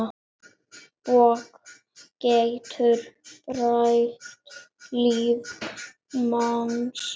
Bók getur breytt lífi manns.